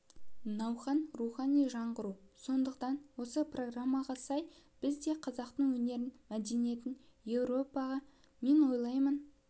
науқан рухани жаңғыру сондықтан осы программаға сәй біз де қазақтың өнерін мәдениетін еуропаға мен ойлаймын